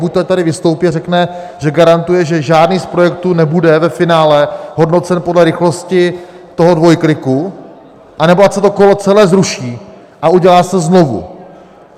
Buďto ať tady vystoupí a řekne, že garantuje, že žádný z projektů nebude ve finále hodnocen podle rychlosti toho dvojkliku, anebo ať se to kolo celé zruší a udělá se znovu.